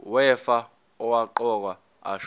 wefa owaqokwa ashona